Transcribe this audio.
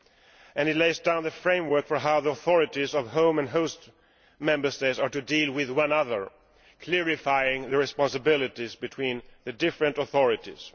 It also lays down the framework for how the authorities of home and host Member States are to deal with one another, clarifying the responsibilities of the different authorities.